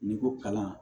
N'i ko kalan